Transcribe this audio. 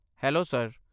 Hello sir.